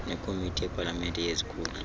nekomiti yepalamente yezikhundla